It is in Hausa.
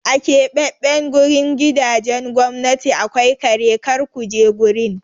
A keɓaɓɓen gurin gidajen gwamnati akwai kare, kar ku je gurin!